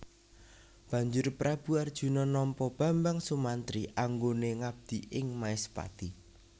Banjur Prabu Arjuna nampa Bambang Sumantri anggone ngabdi ing Maespati